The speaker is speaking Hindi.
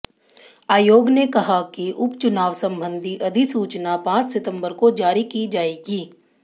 आयोग ने कहा कि उपचुनाव संबंधी अधिसूचना पांच सितंबर को जारी की जाएगी